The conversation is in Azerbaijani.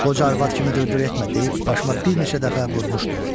Qoca arvad kimi dır-dır etmə deyib başıma bir neçə dəfə vurmuşdu.